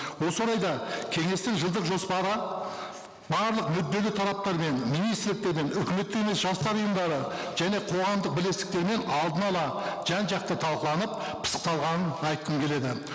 осы орайда кеңестің жылдық жоспары барлық мүдделі тараптармен министрліктермен үкіметтік емес жастар ұйымдары және қоғамдық бірлестіктермен алдын ала жан жақты талқыланып пысықталғанын айтқым келеді